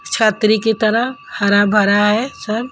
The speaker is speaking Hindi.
छात्री की तरह हरा भरा है सब।